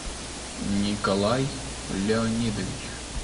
николай леонидович